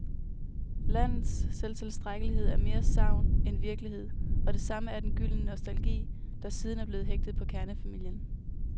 Landets selvtilstrækkelighed er mere sagn end virkelighed, og det samme er den gyldne nostalgi, der siden er blevet hægtet på kernefamilien.